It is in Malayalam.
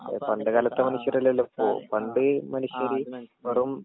പണ്ട് കാലത്തേ മനുഷ്യരല്ലല്ലൊ ഇപ്പോ പണ്ട് മനുഷ്യര് വെറും.